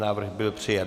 Návrh byl přijat.